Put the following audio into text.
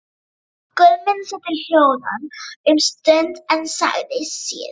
Guðmund setti hljóðan um stund en sagði síðan